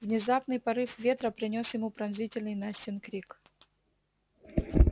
внезапный порыв ветра принёс ему пронзительный настин крик